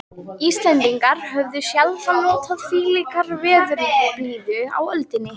Íslendingar höfðu sjaldan notið þvílíkrar veðurblíðu á öldinni.